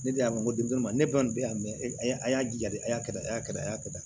Ne de y'a mɛn ko denmisɛnw ma ne kɔni bɛ yan mɛ a y'a jaa de a y'a kɛ tan a y'a kɛ tan a y'a kɛ tan